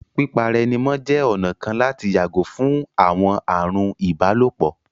Pípa ara ẹni mọ́ jẹ́ ọ̀nà kan láti yàgò fún àwọn ààrùn ìbálòpọ̀